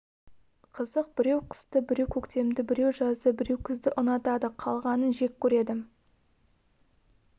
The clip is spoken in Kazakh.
қызық біреу қысты біреу көктемді біреу жазды біреу күзді ұнатады қалғанын жек көреді